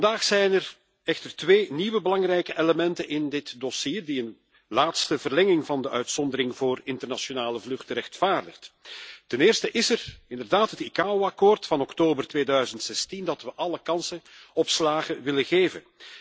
Vandaag zijn er echter twee nieuwe belangrijke elementen in dit dossier die een laatste verlenging van de uitzondering voor internationale vluchten rechtvaardigt. Ten eerste is er inderdaad het ICAO akkoord van oktober 2016 dat we alle kansen op slagen willen geven.